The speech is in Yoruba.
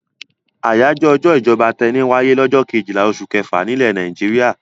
Àjọyọ̀ ọjọ́ ìjọba tẹni wáyé lọ́jọ́ kejìlá oṣù kẹfà nílẹ̀ Nàìjíríà.